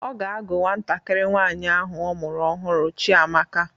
Ọ ga-àgú nwantakịrị nwaanyi ahụ ọ mụrụ ọhụrụ Chiamaka.